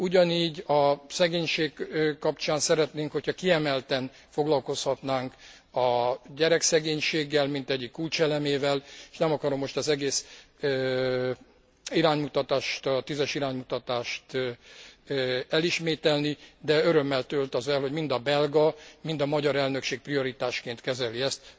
Ugyanígy a szegénység kapcsán szeretnénk, hogyha kiemelten foglalkozhatnánk a gyerekszegénységgel, mint egyik kulcselemével és nem akarom most az egész iránymutatást, a 10 es iránymutatást elismételni, de örömmel tölt az el, hogy mind a belga, mind a magyar elnökség prioritásként kezeli ezt.